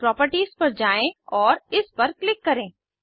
properties पर जाएँ और इस पर क्लिक करें